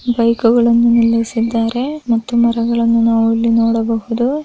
ಬೈಕುಗಳನ್ನು ನಿಲ್ಲಿಸಿದ್ದಾರೆ ಮತ್ತು ಮರಗಳ್ನು ನಾವು ಇಲ್ಲಿ ನೋಡಬಹುದು.